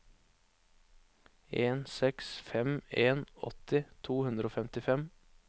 en seks fem en åtti to hundre og femtifem